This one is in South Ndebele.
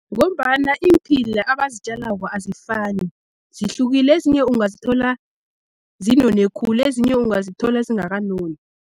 Ngombana iimphila abazitjalako azifani zihlukile, ezinye ungazithola zinone khulu ezinye ungazithola zingakanoni.